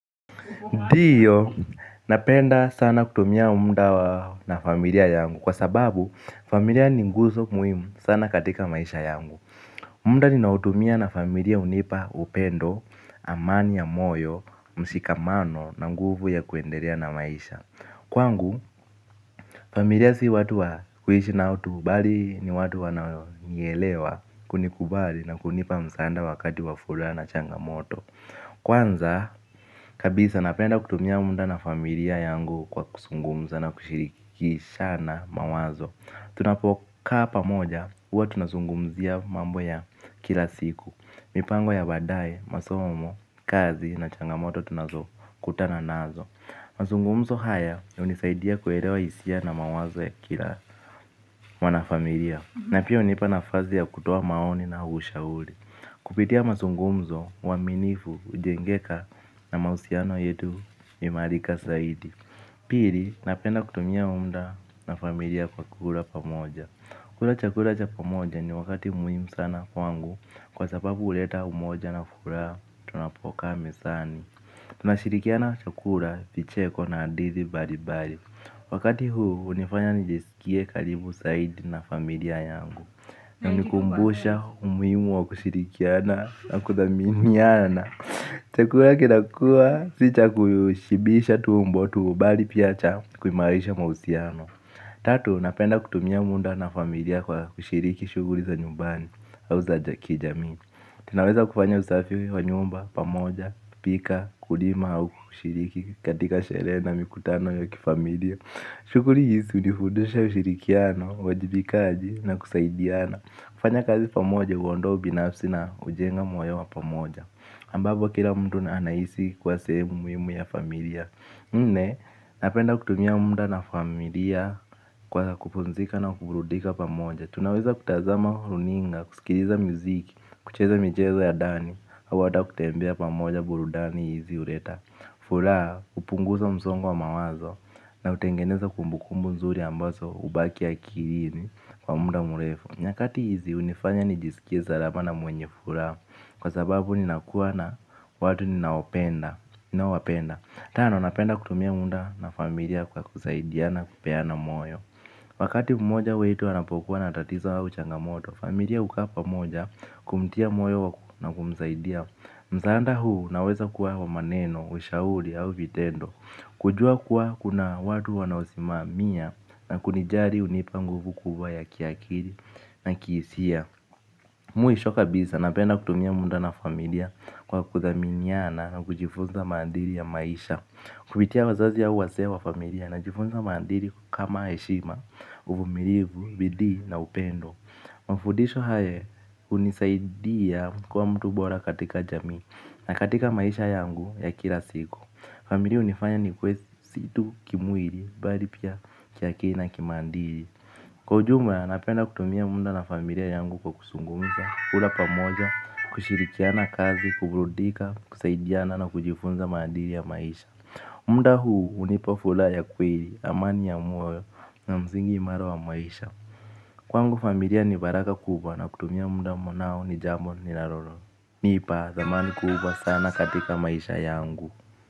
Ndiyo, napenda sana kutumia mda na familia yangu kwa sababu familia ni nguzo muhimu sana katika maisha yangu. Mda ninaotumia na familia hunipa upendo, amani ya moyo, mshikamano na nguvu ya kuendelea na maisha. Kwangu, familia si watu wa kuishi nao tu, bali ni watu wananielewa, kunikubali na kunipa msaada wakati wa furaha na changamoto. Kwanza, kabisa napenda kutumia mda na familia yangu kwa kusungumza na kushirikishana mawazo. Tunapokaa pamoja huwa tunazungumzia mambo ya kila siku, mipango ya baadaye, masomo, kazi na changamoto tunazokutana nazo. Mazungumzo haya hunisaidia kuelewa hisia na mawazo ya kila mwanafamilia. Na pia hunipana nafasi ya kutoa maoni na ushauri. Kupitia mazungumzo, uaminifu, ujengeka na mahusiano yetu huimarika saidi. Pili, napenda kutumia mda na familia kwa kula pamoja. Kula chakula cha pamoja ni wakati muhimu sana kwangu kwa sababu huleta umoja na furaha tunapokaa mezani. Tunashirikia na chakula, vicheko na hadithi baribari. Wakati huu hunifanya nijisikie karimu saidi na familia yangu, na hunikumbusha umuhimu wa kushirikiana na kuthamimiana. Chakula kinakulwa si cha kushibisha tumbo tu bali pia cha kuimarisha mahusiano. Tatu napenda kutumia mda na familia kwa kushiriki shughuli za nyumbani au za kijamii. Tunaweza kufanya usafi wa nyumba pamoja, kupika, kulima au kushiriki katika sherehe na mikutano ya kifamilia. Shughuli hii hunifundisha ushirikiano, uwajibikaji na kusaidiana. Kufanya kazi pamoja huondoa ubinafsi na hujenga moyo wa pamoja. Ambapo kila mtu na anahisi kuwa sehemu muhimu ya familia. Nne, napenda kutumia mda na familia kwa kupumzika na kuburudika pamoja. Tunaweza kutazama runinga, kusikiliza mziki, kucheza michezo ya ndani au hata kutembea pamoja burudani hizi hureta furaha, kupunguza msongo wa mawazo na utengeneza kumbukumbu nzuri ambazo hubaki akilini kwa mda mrefu. Nyakati hizi hunifanya nijisikie salama na mwenye furaha kwa sababu ninakuwa na watu ninaopenda. Tano, napenda kutumia mda na familia kwa kusaidiana kupeana moyo. Wakati mmoja wetu anapokuwa na tatizo au changamoto, familia hukaa pamoja kumtia moyo na kumsaidia. Msada huu unaweza kuwa wa maneno, ushauri au vitendo. Kujua kuwa kuna watu wanaosimamia na kunijali hunipa nguvu kubwa ya kiakiri na kihisia. Mwisho kabisa napenda kutumia mda na familiakKwa kudhaminiana na kujifunza maadiri ya maisha. Kupitia wazazi ya wazee wa familia najifunza maadili kama heshima, uvumilivu, bidii na upendo. Mafudisho haya hunisaidia kuwa mtu bora katika jamii na katika maisha yangu ya kila siku. Familia hunifanya nikuwe si tu kimwili bali pia kiakili na kimaadili. Kwa ujumla napenda kutumia mda na familia yangu kwa kusungumza, kula pamoja, kushirikiana kazi, kuburudika, kusaidiana na kujifunza maadili ya maisha. Mda huu hunipa fulaha ya kweli, amani ya moyo na msingi imara wa maisha. Kwangu familia ni baraka kubwa na kutumia mda nao ni jambo ninaroro. Nipa thamani kubwa sana katika maisha yangu.